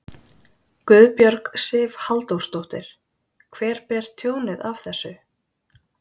Guðbjörg Sif Halldórsdóttir: Hver ber tjónið af þessu?